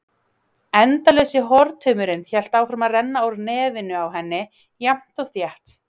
Endalausi hortaumurinn hélt áfram að renna úr nefinu á henni, jafnt og þétt.